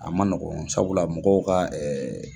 A ma nɔgɔn sabula mɔgɔw ka